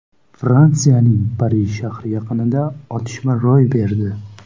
Fransiyaning Parij shahri yaqinida otishma ro‘y berdi.